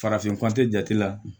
Farafin ko jate la